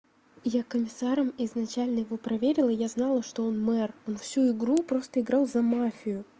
я комиссаром изначально его проверила я знала что он мэр он всю игру просто играл за мафию